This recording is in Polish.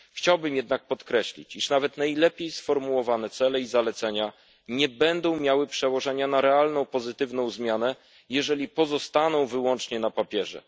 Chciałbym jednak podkreślić, że nawet najlepiej sformułowane cele i zalecenia nie będą miały przełożenia na realną pozytywną zmianę, jeżeli pozostaną wyłącznie na papierze.